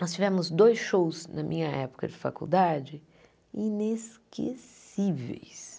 Nós tivemos dois shows na minha época de faculdade inesquecíveis.